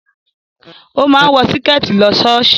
O máa ń wọ Síkẹ̀tí lọ ṣọ́ọ̀ṣì